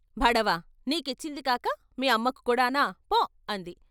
బడవ నీ కిచ్చింది కాక మీ అమ్మకు కూడా నా ఫో అంది.